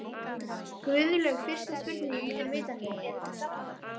Guðlaug, fyrsta spurning, er vitanlega: Eruð þið sáttar?